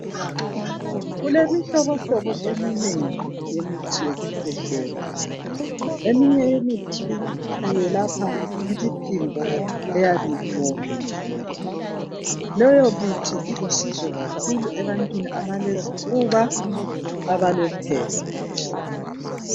Kulemihlobohlobo eminengi yemithi yokukhwehlela. Eminye imithi iyelapha imiphimbo eyabe iwomile. Leyo mithi ilusizo kakhuku ebantwini abalezifuba loba uphepha.